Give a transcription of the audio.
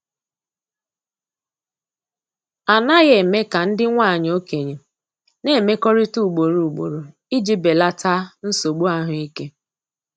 A naghị eme ka ndị nwanyị okenye na-emekọrịta ugboro ugboro iji belata nsogbu ahụike.